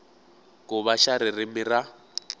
ku va xa ririmi ra